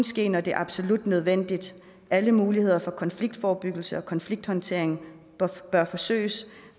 ske når det er absolut nødvendigt alle muligheder for konfliktforebyggelse og konflikthåndtering bør forsøges